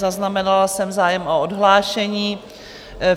Zaznamenala jsem zájem o odhlášení.